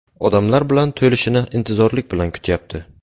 Odamlar bilan to‘lishini intizorlik bilan kutyapti.